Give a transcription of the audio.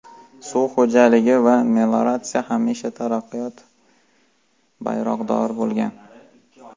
Suv xo‘jaligi va melioratsiya hamisha taraqqiyot bayroqdori bo‘lgan.